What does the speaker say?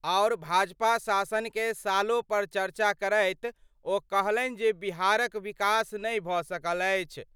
आओर भाजपा शासन कए सालों पर चर्चा करैत ओ कहलनि जे बिहार क विकास नहि भ सकल अछि।